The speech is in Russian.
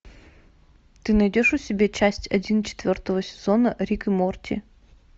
ты найдешь у себя часть один четвертого сезона рик и морти